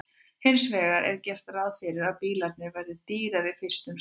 Hins vegar er gert ráð fyrir að bílarnir verði dýrari fyrst um sinn.